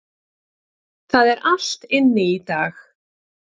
Það er allt inni í dag.